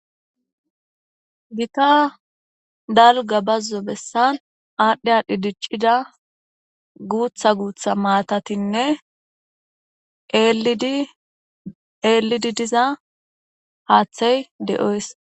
Gita dalga bazzo bessan aadhdhi aadhdhi diccida guutha guutha maatatinne eelidi diza haaththey de'oys.